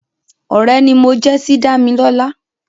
Ọ̀rẹ́ ni mo jẹ́ sí Dámilọ́lá